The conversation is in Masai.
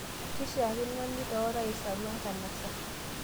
Keishakino nitaa orais Arua enkanasa